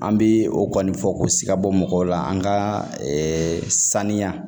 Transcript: An bɛ o kɔni fɔ k'o si ka bɔ mɔgɔw la an ka saniya